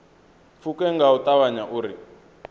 pfuke nga u ṱavhanya uri